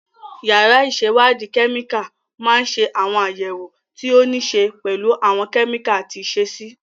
Yàrá ìṣèwádìí kẹ́míkà máa ń ṣe àwọn àyẹ̀wò tí ó níí ṣe pẹ̀lú àwọn kẹ́míkà àti ìṣesí.